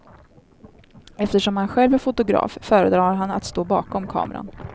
Eftersom han själv är fotograf föredrar han att stå bakom kameran.